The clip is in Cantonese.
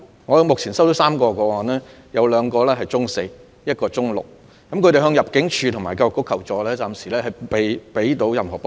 我目前收到3宗個案，包括兩名中四學生及一名中六學生，他們曾向入境處及教育局求助，但暫時政府仍未能給予任何幫助。